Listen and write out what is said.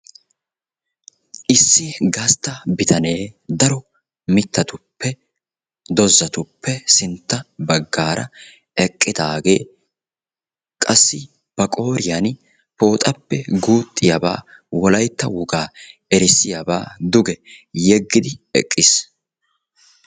Issi gastta bitanee daro mittatuppe dozatuppe sintta baggaara eqqidaagee qassi ba qooriyan pooxappe guuxxiyaba Wolaytta wogaa erssiyabaa duge yeggidi eqqiis.